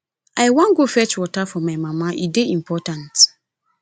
i wan go fetch water for my mama e dey important